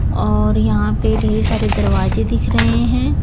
और यहां पे ढेर सारे दरवाजे दिख रहे हैं।